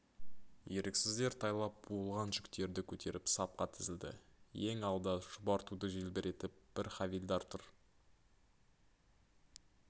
еріксіздер тайлап буылған жүктерді көтеріп сапқа тізілді ең алда шұбар туды желбіретіп бір хавильдар тұр